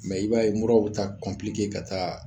i b'a ye muraw taa ka taa